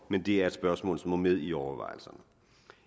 men det er et spørgsmål som må med i overvejelserne